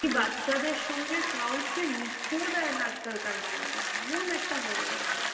বাচ্চাদের সঙ্গে কাওকে মিশতেও দেয়না আজকালকার মা বাবা, কেমন একটা হয়ে গেছে,